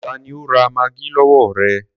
Tani ó ra maggi lọwọ ẹ?